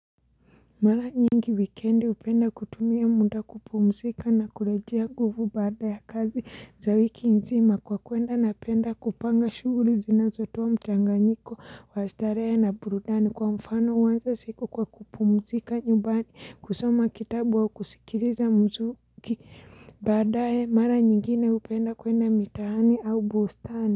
Mara nyingi wikendi upenda kutumia muda kupumzika na kurejea nguvu baada ya kazi za wiki nzima kwa kuenda napenda kupanga shughuli zinazotowa mchanganyiko wa starehe na burudani kwa mfano uanza siku kwa kupumzika nyumbani kusoma kitabu au kusikiliza mzuki badae mara nyingine upenda kwenda mitaani au bustani.